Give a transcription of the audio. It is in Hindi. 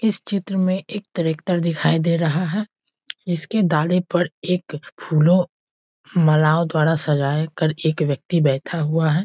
इस चित्र में एक ट्रैक्टर दिखाई दे रहा है जिसके डाले पर एक फूलों मालाओ द्वारा सजा कर एक व्यक्ति बैठा हुआ है|